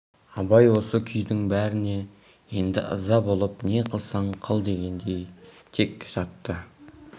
абай осы күйдің бәріне енді ыза болып не қылсаң қыл дегендей тек жатты